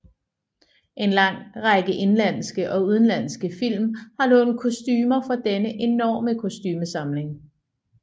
En lang række indenlandske og udenlandske film har lånt kostumer fra denne enorme kostumesamling